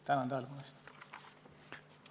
Tänan tähelepanu eest!